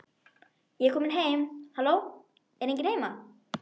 Ég er komin heim halló, er enginn heima?